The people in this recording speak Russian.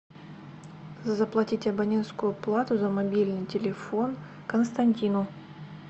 заплатить абонентскую плату за мобильный телефон константину